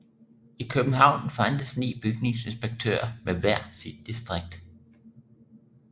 I København fandtes ni bygningsinspektører med hver sit distrikt